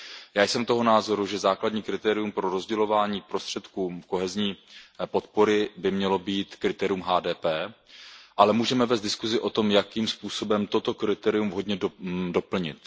Já jsem toho názoru, že základní kritérium pro rozdělování prostředků kohezní podpory by mělo být kritérium HDP, ale můžeme vést diskuzi o tom, jakým způsobem toto kritérium vhodně doplnit.